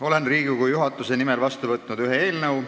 Olen Riigikogu juhatuse nimel vastu võtnud ühe eelnõu.